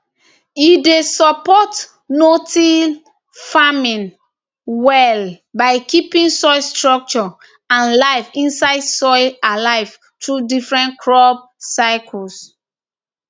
e dey support notill farming well by keeping soil structure and life inside soil alive through different crop cycles